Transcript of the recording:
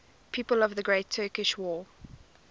people of the great turkish war